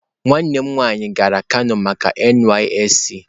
Nwannem nwaanyi gara kano maka NYSC